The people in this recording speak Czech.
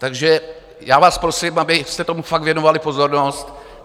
Takže já vás prosím, abyste tomu fakt věnovali pozornost.